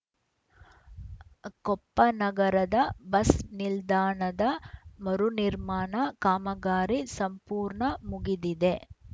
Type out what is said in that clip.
ಕೊಪ್ಪ ನಗರದ ಬಸ್‌ ನಿಲ್ದಾಣದ ಮರುನಿರ್ಮಾಣ ಕಾಮಗಾರಿ ಸಂಪೂರ್ಣ ಮುಗಿದಿದೆ